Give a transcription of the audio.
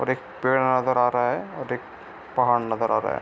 और एक पेड़ नजर आ रहा है और एक पहाड़ नजर आ रहा है।